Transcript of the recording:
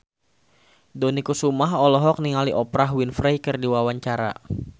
Dony Kesuma olohok ningali Oprah Winfrey keur diwawancara